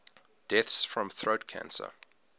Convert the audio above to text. deaths from throat cancer